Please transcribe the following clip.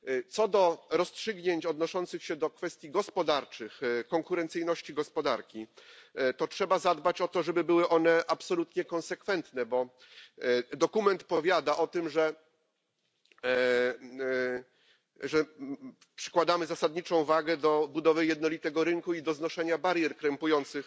Co do rozstrzygnięć odnoszących się do kwestii gospodarczych, konkurencyjności gospodarki, to trzeba zadbać o to, żeby były one absolutnie konsekwentne, bo dokument powiada o tym, że przykładamy zasadniczą wagę do budowy jednolitego rynku i do znoszenia barier krępujących